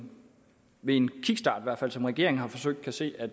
ved en kickstart som regeringen har forsøgt kan se at